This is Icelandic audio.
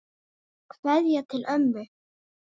Kveðja til ömmu.